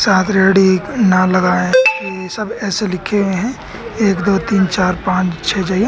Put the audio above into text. रेहड़ी नाल लगाए हैं ये सब ऐसे लिखे हुए हैं एक दो तीन चार पांच छह जगह।